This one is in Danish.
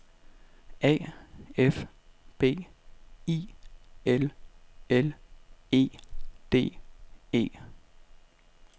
A F B I L L E D E